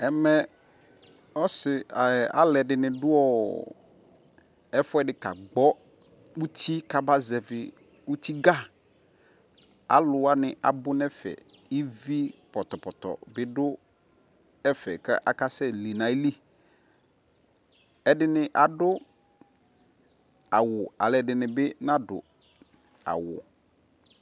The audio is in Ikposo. Ɛmɛ ɔsi, alɛdini duɔɔ ɛfuɛdi kagbɔ uti kabaƶɛvi utiga Aluwani abunɛfɛ ivii pɔtɔpɔtɔ bi du ɛfɛ kakasɛli ayili Ɛdinɛ adu awu, ɛdinibi naduawu